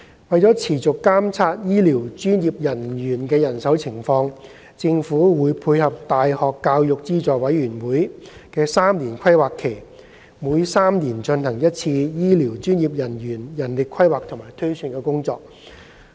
為持續監察醫療專業人員的人手情況，政府會配合大學教育資助委員會的3年規劃期，每3年進行一次醫療專業人員人力規劃和推算工作。